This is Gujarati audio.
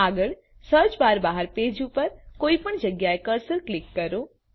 આગળ સર્ચ બાર બહાર પેજ ઉપર કોઇપણ જગ્યા એ કર્સર ક્લિક કરો